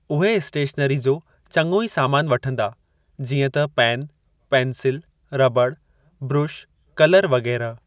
उहे स्टेशनरी जो चंङो ई सामान वठंदा जीअं त पेन पेंसिल रबड़ ब्रुश कलर वग़ैरह।